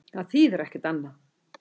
Það þýðir ekkert annað.